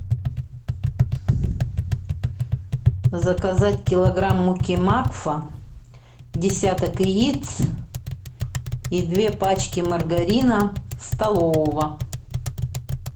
заказать килограмм муки макфа десяток яиц и две пачки маргарина столового